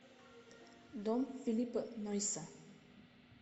дом филиппа нойса